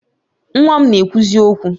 Nwa m na-ekwuzi okwu